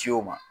Ciw ma